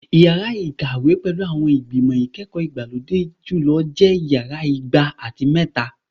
Yara ikawe pẹlu awọn igbimọ ikẹkọ igbalode julọ jẹ Yara igba ati mẹta